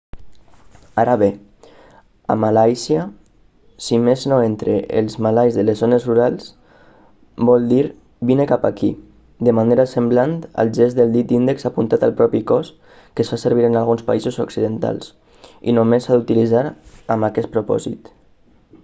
ara bé a malàisia si més no entre els malais de les zones rurals vol dir vine cap aquí de manera semblant al gest del dit índex apuntant al propi cos que es fa servir en alguns països occidentals i només s'ha d'utilitzar amb aquest propòsit